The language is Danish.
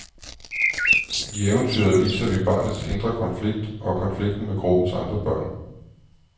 I eventyret viser vi barnets indre konflikt og konflikten med gruppens andre børn.